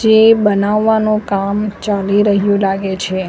જે બનાવવાનું કામ ચાલી રહ્યું લાગે છે.